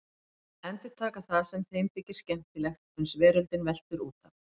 Endurtaka það sem þeim þykir skemmtilegt uns veröldin veltur út af.